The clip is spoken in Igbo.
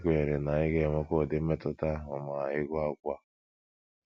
Anyị kwenyere na ị ga - enwekwa ụdị mmetụta ahụ ma ị gụọ akwụkwọ a.